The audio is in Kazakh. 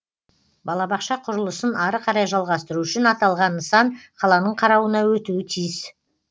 балабақша құрылысын ары қарай жалғастыру үшін аталған нысан қаланың қарауына өтуі тиіс